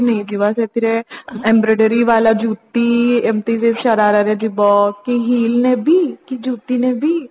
mall ରୁ ନେଇଯିବା ସେଥିରେ Embroidery ବାଲା ଯୁତି ଏମିତି ଶରାରା ରେ ଯିବ ନହେଲେ heel ନେବି କି ଯୁତି ନେବି